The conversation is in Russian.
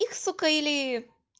их сука или